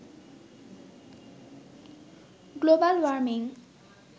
global warming